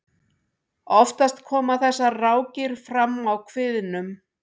oftast koma þessar rákir fram á kviðnum